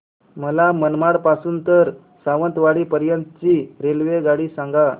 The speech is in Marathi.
मला मनमाड पासून तर सावंतवाडी पर्यंत ची रेल्वेगाडी सांगा